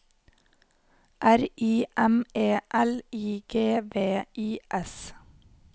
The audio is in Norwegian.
R I M E L I G V I S